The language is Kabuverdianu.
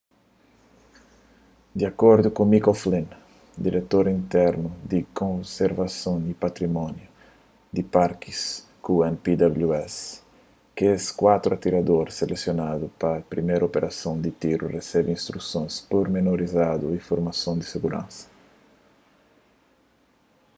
di akordu ku mick o'flynn diretor interinu di konservason y patrimóniu di parki ku npws kes kuatru atirador selesionadu pa priméru operason di tiru resebe instrusons purmenorizadu y formason di siguransa